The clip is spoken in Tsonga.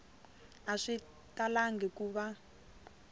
a swi talangi ku va